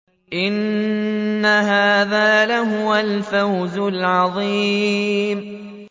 إِنَّ هَٰذَا لَهُوَ الْفَوْزُ الْعَظِيمُ